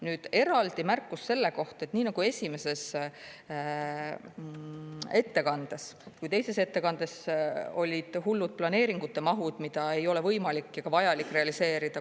Nüüd, eraldi märkus selle kohta, et nii esimeses ettekandes kui teises ettekandes olid hullud planeeringute mahud, mida ei ole võimalik ja ka vajalik realiseerida.